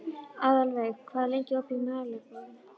Aðalveig, hvað er lengi opið í Melabúðinni?